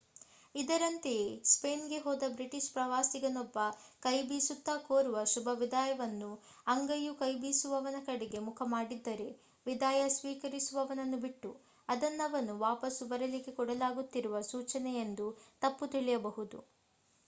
ಇದರಂತೆಯೇ Spain ಗೆ ಹೋದ British ಪ್ರವಾಸಿಗನೊಬ್ಬ ​​ಕೈಬೀಸುತ್ತಾ ಕೋರುವ ಶುಭ ವಿದಾಯದಲ್ಲಿ ಅಂಗೈಯು ಕೈಬೀಸುವವನ ಕಡೆಗೆ ಮುಖ ಮಾಡಿದ್ದರೆ ವಿದಾಯ ಸ್ವೀಕರಿಸುವವನನ್ನು ಬಿಟ್ಟು ಅದನ್ನವನು ವಾಪಸು ಬರಲಿಕ್ಕೆ ಕೊಡಲಾಗುತ್ತಿರುವ ಸೂಚನೆಯೆಂದು ತಪ್ಪು ತಿಳಿಯಬಹುದು